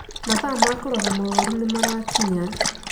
Mathaa ma kũrora mũrũaru nĩ marakinya